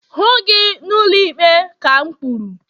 hụ gi n'ụlọikpe ka m kwuru!